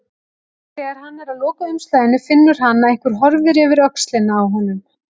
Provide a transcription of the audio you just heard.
Þegar hann er að loka umslaginu finnur hann að einhver horfir yfir öxlina á honum.